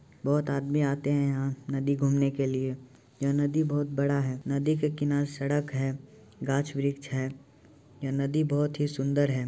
बहुत आदमी आते हैं यहाँ नदी घूमने के लिए। यह नदी बहुत बड़ा है। नदी के किनारे सड़क है गाछ-वृक्ष है। यह नदी बहुत ही सुन्दर है।